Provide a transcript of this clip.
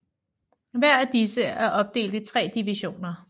Hver af disse er opdelt i tre divisioner